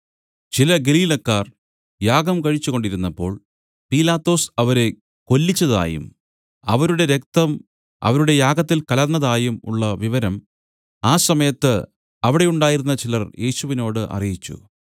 ചില ഗലീലക്കാർ യാഗം കഴിച്ച് കൊണ്ടിരുന്നപ്പോൾ പീലാത്തോസ് അവരെ കൊല്ലിച്ചതായും അവരുടെ രക്തം അവരുടെ യാഗത്തിൽ കലർന്നതായും ഉള്ള വിവരം ആ സമയത്ത് അവിടെ ഉണ്ടായിരുന്ന ചിലർ യേശുവിനോടു അറിയിച്ചു